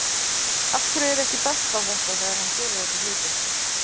Af hverju er ekki bent á þetta þegar hann gerir þessa hluti?